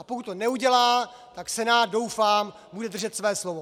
A pokud to neudělá, tak Senát, doufám, bude držet své slovo.